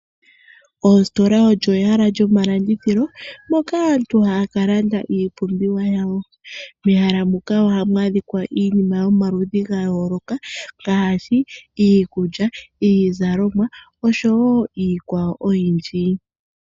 Ositola olyo ehala lyomalandithilo moka aantu haya ka landa iipumbiwa yawo. Moositola ohamu kala iinima yomaludhi ga yooloka ngaashi: iikulya, iizalomwa oshowo iikwawo oyindji.